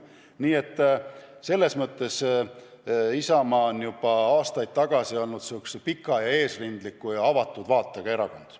Nii et Isamaa on juba aastaid tagasi olnud pika ja eesrindliku ja avatud vaatega erakond.